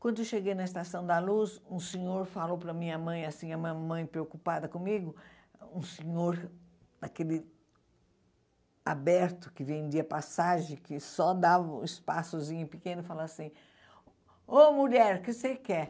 Quando eu cheguei na Estação da Luz, um senhor falou para minha mãe, assim, a mamãe preocupada comigo, um senhor daquele... aberto, que vendia passagem, que só dava um espaçozinho pequeno, falou assim, ô mulher, que você quer?